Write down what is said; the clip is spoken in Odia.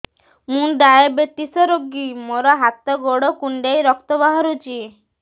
ମୁ ଡାଏବେଟିସ ରୋଗୀ ମୋର ହାତ ଗୋଡ଼ କୁଣ୍ଡାଇ ରକ୍ତ ବାହାରୁଚି